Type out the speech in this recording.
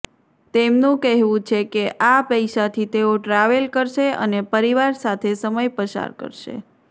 તેમનું કહેવું છે કે આ પૈસાથી તેઓ ટ્રાવેલ કરશે અને પરિવાર સાથે સમય પસાર કરશે